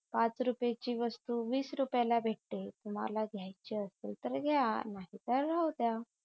पाच रुपयाची वस्तू वीस रुपयाला भेटते तुम्हाला घ्यायची असेल तर घ्या नाहीतर नाहीतर राहूद्या